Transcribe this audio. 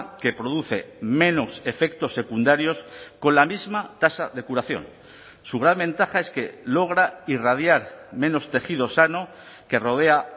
que produce menos efectos secundarios con la misma tasa de curación su gran ventaja es que logra irradiar menos tejido sano que rodea